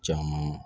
Caman